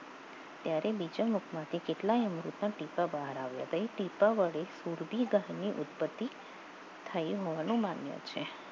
ત્યારે બીજા મતમાંથી કેટલાક અમૃતના ટીપા બહાર આવ્યા હતા એ ટીપા વડે સુરભી ગહની ઉત્પત્તિ થઈ હોવાનો માન્ય છે